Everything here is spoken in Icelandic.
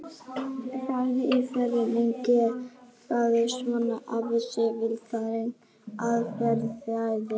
Spurningin í fullri lengd hljóðaði svona: Hvað er vísindaleg aðferðafræði?